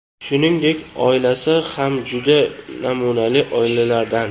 Shuningdek, oilasi ham juda namunali oilalardan.